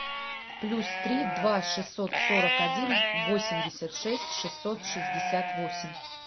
плюс три два шестьсот сорок один восемьдесят шесть шестьсот шестьдесят восемь